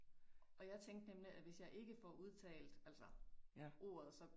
Og jeg tænkte nemlig at hvis jeg ikke får udtalt altså ordet så